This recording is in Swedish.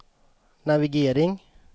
navigering